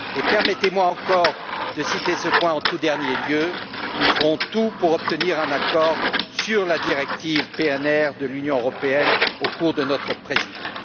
Permettez moi encore de citer ce point en tout dernier lieu nous ferons tout pour obtenir un accord sur la directive PNR de l'Union européenne au cours de notre présidence.